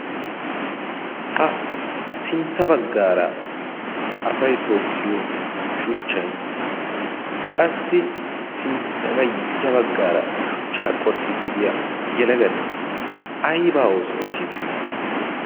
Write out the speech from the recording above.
Ha sintta baggara asay tookiya shuchchay. qassi ya baggra shuchcha qoxxidi diyaa yelagati aybba oosso oottide de'iyoona?